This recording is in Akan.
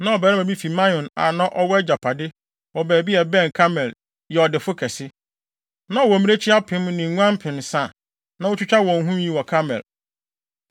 Na ɔbarima bi fi Maon a na ɔwɔ agyapade wɔ baabi a ɛbɛn Karmel yɛ ɔdefo kɛse. Na ɔwɔ mmirekyi apem ne nguan mpensa a na otwitwa wɔn nwi wɔ Karmel.